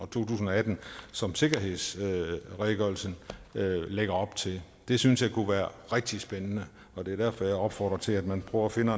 to tusind og atten som sikkerhedsredegørelsen lægger op til det synes jeg kunne være rigtig spændende og det er derfor jeg opfordrer til at man prøver at finde